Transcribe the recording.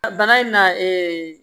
A bana in na